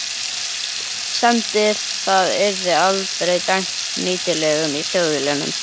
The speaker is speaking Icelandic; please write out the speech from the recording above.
semdi það yrði aldrei dæmt nýtilegt í Þjóðviljanum.